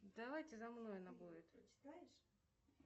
давайте за мной она будет